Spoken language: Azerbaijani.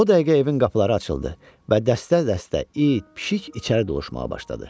O dəqiqə evin qapıları açıldı və dəstə-dəstə it, pişik içəri doluşmağa başladı.